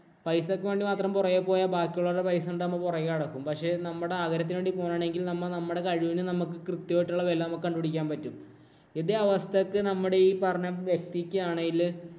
പൈസയ്ക്ക് വേണ്ടി മാത്രം പുറകെ പോയാ ബാക്കിയുള്ളവരുടെ പൈസ കണ്ടു നമ്മ പുറകെ നടക്കും. പക്ഷേ നമ്മടെ ആഗ്രഹത്തിന് വേണ്ടി പോകുകയാണെങ്കില്‍ നമ്മ നമ്മുടെ കഴിവിനെ നമുക്ക് കൃത്യമായിട്ടുള്ള വെല നമുക്ക് കണ്ടു പിടിക്കാന്‍ പറ്റും. ഇതേ അവസ്ഥയ്ക്ക് നമ്മുടെ ഈ പറഞ്ഞ വ്യക്തിക്കാണേല്